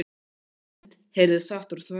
sama mund heyrðist sagt úr þvögunni